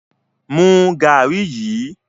Mú garri yí!